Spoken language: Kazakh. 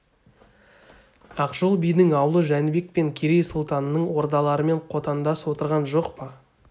ақжол бидің аулы жәнібек пен керей сұлтанның ордаларымен қотандас отырған жоқ па